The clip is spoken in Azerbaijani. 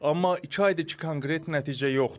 Amma iki aydır ki, konkret nəticə yoxdur.